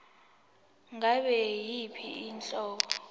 ngabe yiyiphi inhlobo